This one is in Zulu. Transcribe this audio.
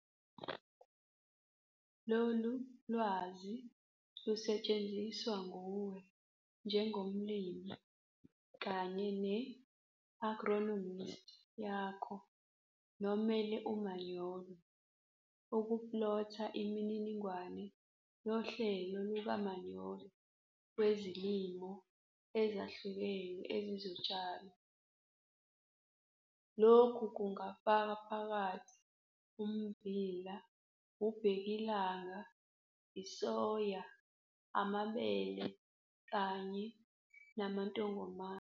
Lolu lwazi lusetshenziswa nguwe njengomlimi kanye ne-agronomisti yakho nomele umanyolo ukuplotha imininingwane yohlelo lukamanyolo wezilimo ezahlukene ezizotshalwa. Lokhu kungafaka phakathi ummbila, ubhekilanga, isoya, amabele, kanye namantongomane.